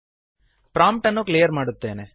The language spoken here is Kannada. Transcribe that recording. ಪ್ರಾಂಪ್ಟ್ ಅನ್ನು ಕ್ಲಿಯರ್ ಮಾಡುತ್ತೇನೆ